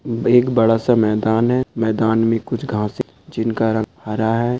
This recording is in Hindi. --बहोत बड़ा सा मैदान है मैदान में कुछ घास है जिनका रंग हरा है।